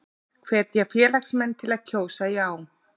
Hvetja félagsmenn til að kjósa já